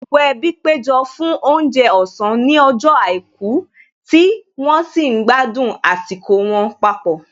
Gbogbo ẹbí péjọ fún oúnjẹ ọ̀sán ní ọjọ́ àìkú tí wọ́n sì ń gbádùn àsìkò wọn papọ̀